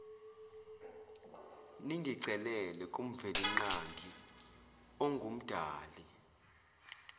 ningicelele kumvelinqangi ongumdali